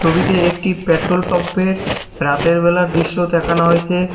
ছবিতে একটি পেট্রোল পাম্পের রাতের বেলার দৃশ্য দেখানো হয়েছে।